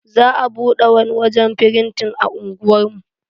Za a bude wani wajen firintin a unguwar mu.